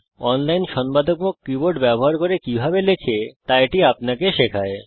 online সংবাদক্মক keyboard ব্যবহার করে কিভাবে লেখে তা এটি আপনাকে শেখায়